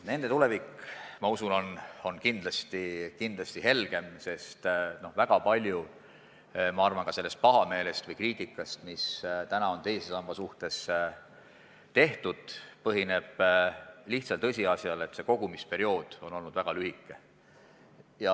Nende tulevik, ma usun, on kindlasti helgem, sest ma arvan, et väga palju sellest pahameelest või kriitikast, mis täna on teise samba suhtes tehtud, põhineb lihtsal tõsiasjal, et kogumisperiood on olnud väga lühike.